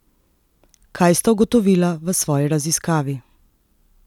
Kaj sta ugotovila v svoji raziskavi?